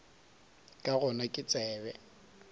ka gona ga ke tsebe